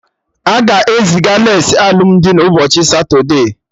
Aga eziga lace alụmdi na ụbọchị satude